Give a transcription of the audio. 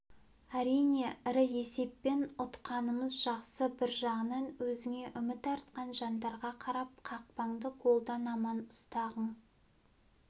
әрине ірі есеппен ұтқанымыз жақсы бір жағынан өзіңе үміт артқан жандарға қарап қақпаңды голдан аман ұстағың